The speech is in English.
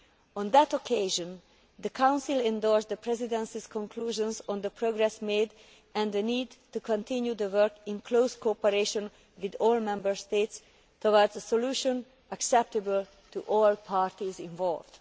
On that occasion, the Council endorsed the Presidency's conclusions on the progress made and the need to continue to work in close cooperation with all Member States towards a solution acceptable to all parties involved.